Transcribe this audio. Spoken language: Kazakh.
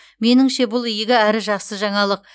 меніңше бұл игі әрі жақсы жаңалық